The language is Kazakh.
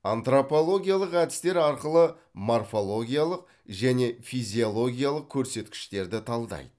антропологиялық әдістер арқылы морфологиялық және физиологиялық көрсеткіштерді талдайды